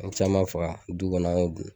An ye caman faga du kɔnɔ an y'o dun